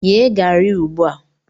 Yee garri a ugbu a!